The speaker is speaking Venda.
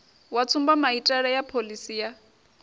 wa tsumbamaitele ya phoḽisi ya